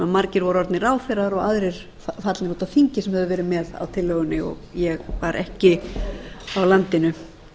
margir voru orðnir ráðherrar og aðrir fallnir út af þingi sem höfðu verið með á tillögunni og ég var ekki á landinu